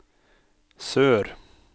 sør